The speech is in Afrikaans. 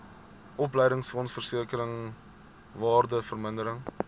opleidingsfonds versekering waardevermindering